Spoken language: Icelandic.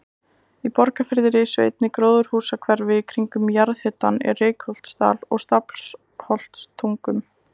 Í Borgarfirði risu einnig gróðurhúsahverfi kringum jarðhitann í Reykholtsdal og Stafholtstungum.